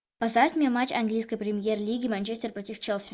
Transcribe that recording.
поставь мне матч английской премьер лиги манчестер против челси